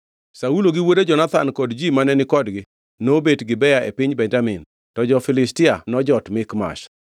Saulo gi wuode Jonathan kod ji mane ni kodgi nobet Gibea e piny Benjamin, to jo-Filistia nojot Mikmash.